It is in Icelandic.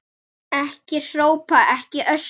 Ekki hrópa, ekki öskra!